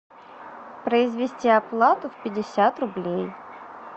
произвести оплату в пятьдесят рублей